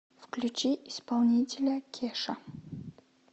включи исполнителя кеша